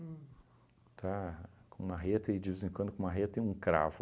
Uhm. Tá? Com marreta e, de vez em quando, com marreta e um cravo.